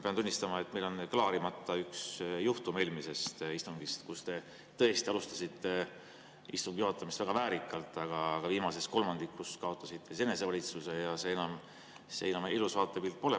Pean tunnistama, et meil on klaarimata üks juhtum eelmisest istungist, kui te tõesti alustasite istungi juhatamist väga väärikalt, aga viimases kolmandikus kaotasite enesevalitsuse ja see enam ilus vaatepilt ei olnud.